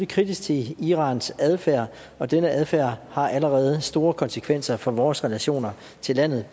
kritisk til irans adfærd og denne adfærd har allerede store konsekvenser for vores relationer til landet